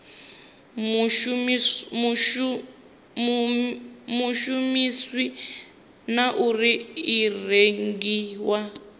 shumisiwa na uri i rengiwa